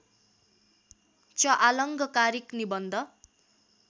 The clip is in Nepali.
च आलङ्कारिक निबन्ध